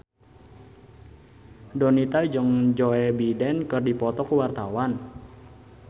Donita jeung Joe Biden keur dipoto ku wartawan